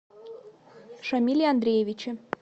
шамиле андреевиче